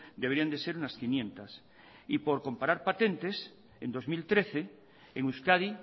deberían de ser unas quinientos y por comparar patentes en dos mil trece en euskadi